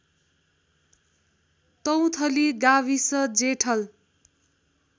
तौथली गाविस जेठल